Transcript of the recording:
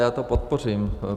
Já to podpořím.